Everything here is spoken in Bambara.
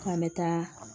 K'an bɛ taa